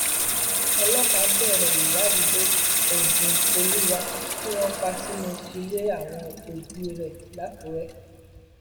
ọlọpàá bẹrẹ ìwádìí lórí ebúnkolúwà tí wọn pa sínú ilé àwọn òbí rẹ lákùrẹ